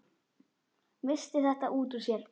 Missti þetta út úr sér.